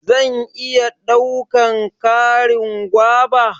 zan iya daukan Karin guava?